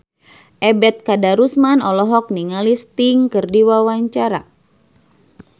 Ebet Kadarusman olohok ningali Sting keur diwawancara